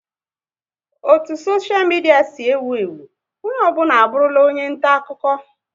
O ne soshia midia si ewu ewu, onye ọ bụla abụrụla onye nta akụkọ